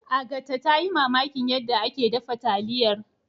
Agatha ta yi mamakin yadda ake dafa taliyar.